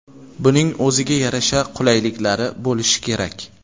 Buning o‘ziga yarasha qulayliklari bo‘lishi kerak.